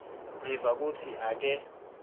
ngiva kutsi ake